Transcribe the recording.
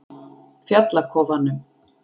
Fjallakofanum